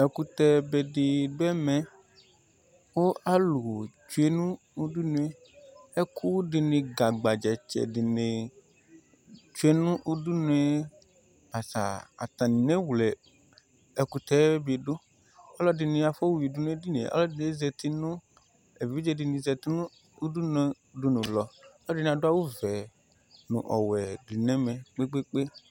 Ɛkʋtɛ be di dʋ ɛmɛ kʋ alʋ tsue nʋ udunu e Ɛkʋ di ni gagbadza tsɛ di ni tsue nʋ udunu e basaa Atani newle ɛkʋtɛ bi dʋ Alʋ ɛdini afoyuidʋ nʋ ɛdini e, alʋ ɛdini zati nʋ, evidze di ni zati nʋ udunu lɔ Alʋ ɛdini adʋ awʋ vɛ nʋ ɔwɛ di nɛmɛ, kpekpeekpe